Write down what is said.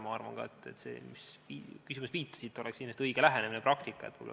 Ma arvan ka, et see lähenemine, millele viitasite, oleks õige praktika.